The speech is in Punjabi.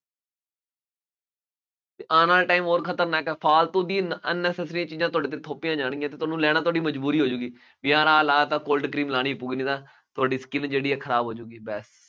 ਆਉਣ ਵਾਲਾ time ਹੋਰ ਖਤਰਨਾਕ ਹੈ, ਫਾਲਤੂ ਦੀ ਨ unnecessary ਚੀਜ਼ਾਂ ਤੁਹਾਡੇ ਤੇ ਥੋਪੀਆਂ ਜਾਣਗੀਆਂ ਅਤੇ ਉਹਨੂੰ ਲੈਣਾ ਤੁਹਾਡੀ ਮਜ਼ਬੂਰੀ ਹੋ ਜਾਊਗੀ। ਯਾਰ ਆਹ ਲਾਇਆ ਤਾਂ ਕੋਲਡ ਕਰੀਮ ਲਾਉਣੀ ਕਿਉਂਕਿ ਨਾ ਤੁਹਾਡੀ skin ਜਿਹੜੀ ਹੈ ਖਰਾਬ ਹੋ ਜਾਊਗੀ, ਲੈ